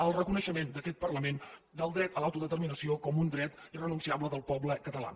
el reconeixement d’aquest parlament del dret a l’autodeterminació com un dret irrenunciable del poble català